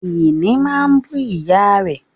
Ìní máa bú ìyá rẹ̀